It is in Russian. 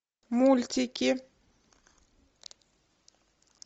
мультики